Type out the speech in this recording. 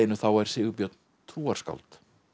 þá er Sigurbjörn trúarskáld